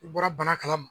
I bɔra bana kalama